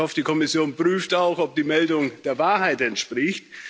Ich hoffe, die Kommission prüft auch, ob die Meldung der Wahrheit entspricht.